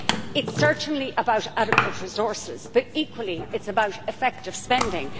It is certainly about adequate resources, but equally it is about effective spending.